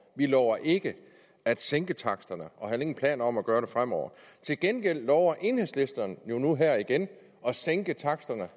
vi lover ikke at sænke taksterne og har heller ingen planer om at gøre det fremover til gengæld lover enhedslisten jo nu her igen at sænke taksterne